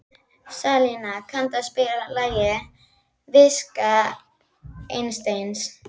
Salína, kanntu að spila lagið „Viska Einsteins“?